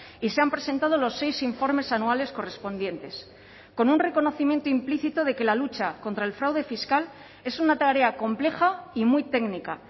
y se han presentado los seis informes anuales correspondientes con un reconocimiento implícito de que la lucha contra el fraude fiscal es una tarea compleja y muy técnica